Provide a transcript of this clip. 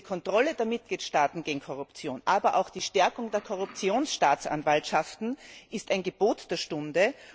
Denn die Kontrolle der Mitgliedstaaten gegen Korruption, aber auch die Stärkung der Korruptionsstaatsanwaltschaften, sind ein Gebot der Stunde.